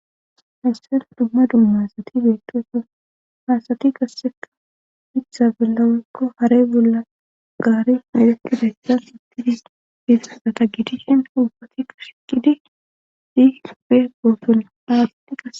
Hayssen dumma dummasati beetoeso hasati gasseka mitha bellaweykko haray bolla gaari nedetidayssa ittidis fifsasata gidishin ubbatika shiqidi dihispe gooton aasati gae.